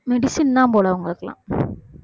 medicine தான் போல அவங்களுக்கெல்லாம்